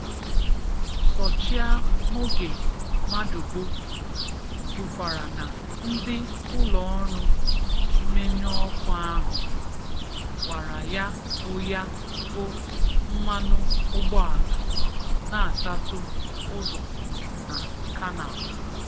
Sọchịa mògè mádùbò kwùkwarà nà ndị ụlọọrụ mmènyù ọkụ ahụ wárá yà bụ yà bụ mmànụ ụgbọàlà na-átàtù ụzọ nà 'Canal